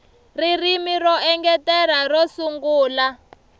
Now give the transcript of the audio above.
ririmi ro engetela ro sungula